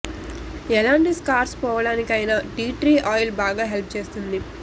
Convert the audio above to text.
ఎలాంటి స్కార్స్ పోవడానికైనా tea tree oil బాగా హెల్ప్ చేస్తుంది